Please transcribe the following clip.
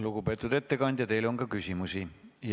Lugupeetud ettekandja, teile on ka küsimusi.